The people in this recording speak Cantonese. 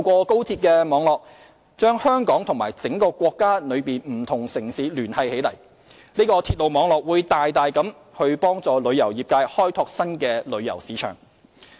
高鐵網絡將香港和全國各地城市聯繫起來，大大幫助香港旅遊業界開拓新的旅遊市場。